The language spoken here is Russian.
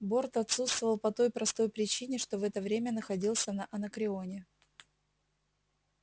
борт отсутствовал по той простой причине что в это время находился на анакреоне